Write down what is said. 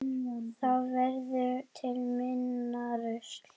Þá verður til minna rusl.